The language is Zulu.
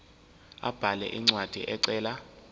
abhale incwadi ecela